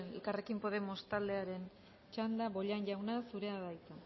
elkarrrekin podemos taldearen txanda bollain jauna zurea da hitza